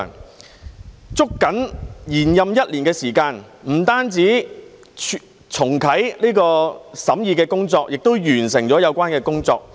議員捉緊延任一年的時間，不單重啟審議工作，也完成了有關工作。